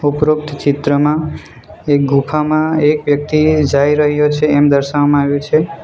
ઉપરોક્ત ચિત્રમાં એક ગુફામાં એક વ્યક્તિ જાઈ રહ્યો છે એમ દર્શાવવામાં આવ્યું છે.